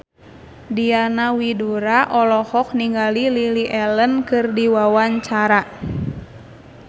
Diana Widoera olohok ningali Lily Allen keur diwawancara